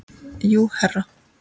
Jú, herra.